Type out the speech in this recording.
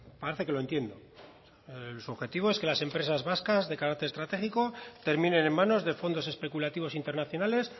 parece que lo entiendo su objetivo es que las empresas vascas de carácter estratégico terminen en manos de fondos especulativos internacionales